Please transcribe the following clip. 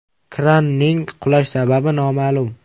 Kranning qulash sababi noma’lum.